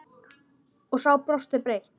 Og sá brosti breitt.